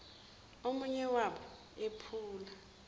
omunye wabo ephula